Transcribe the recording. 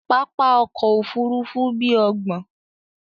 Pápá òkò òfúrùfú bí óògbọ́n